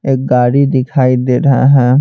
एक गाड़ी दिखाई दे रहा है।